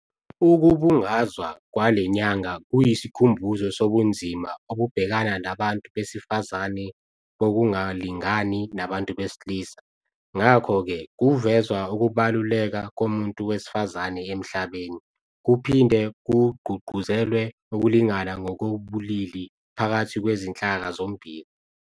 Ukubungazwa kwale nyanga kuyisikhumbuzo sobunzima obubhekana nabantu besifazane bokungalingani nabantu besilisa ngakho-ke kuvezwa ukubaluleka komuntu wesifazane emhlabeni, kuphinde kugqugquzelwe ukulingana ngokobulili phakathi kwezinhlaka zombili.